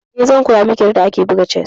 Eh, zan koya miki yadda ake buga chess.